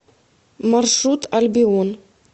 маршрут альбион